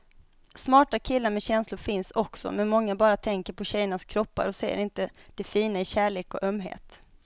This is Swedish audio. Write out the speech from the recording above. Smarta killar med känslor finns också, men många bara tänker på tjejernas kroppar och ser inte det fina i kärlek och ömhet.